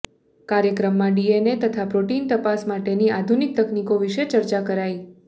કાર્યક્રમમાં ડીએનએ તથા પ્રોટીન તપાસ માટેની આધુનિક તકનીકો વિશે ચર્ચા કરાઈ